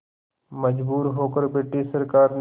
मजबूर होकर ब्रिटिश सरकार ने